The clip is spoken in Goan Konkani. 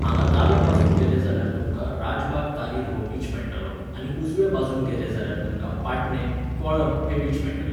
हांगा दाव्या वाटेन गेले जाल्यार तुमकां राजबाग तारीर हो बीच मेळटलो आनी उजव्या वाटेन गेले जाल्यार तुमकां पाटणें, कोळम हे बीच मेळटले.